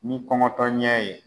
Ni kɔngɔtɔ ɲɛ ye